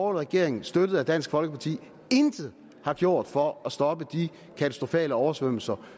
regering støttet af dansk folkeparti intet har gjort for at stoppe de katastrofale oversvømmelser